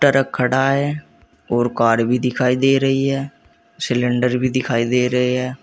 Truck खड़ा है और कार भी दिखाई दे रही है सिलेंडर भी दिखाई दे रहे हैं।